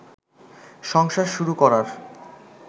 সংসার শুরু করার